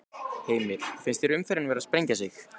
Heimir: Finnst þér umferðin vera að sprengja sig?